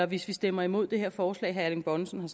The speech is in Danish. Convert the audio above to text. vi stemmer imod det her forslag herre erling bonnesen